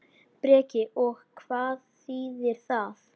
Breki: Og hvað þýðir það?